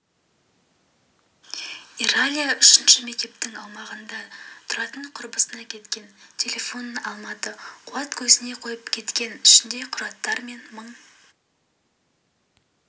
иралия үшінші мектептің аумағында тұратынқұрбысына кеткен телефонын алмады қуат көзіне қойып кеткен ішінде құжаттар мен мың